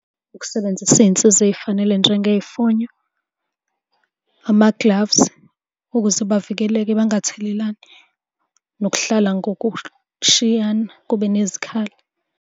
Ukusebenzisa iy'nsiza ey'fanele njengey'fonyo, ama-gloves, ukuze bavikeleke bangathelelani, nokuhlala ngokushiyana kube nezikhala.